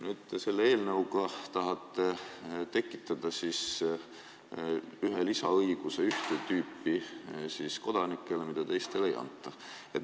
Selle eelnõuga tahate tekitada ühte tüüpi kodanikele ühe lisaõiguse, mida teistele ei anta.